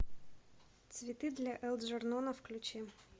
цветы для элджернона включи